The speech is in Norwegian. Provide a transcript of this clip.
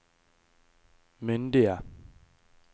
myndige